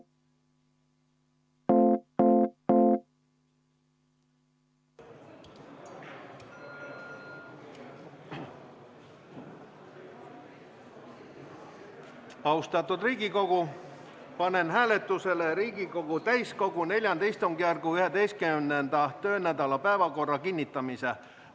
Austatud Riigikogu, panen hääletusele Riigikogu täiskogu IV istungjärgu 11. töönädala päevakorra kinnitamise.